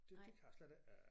Det det kan jeg slet ikke øh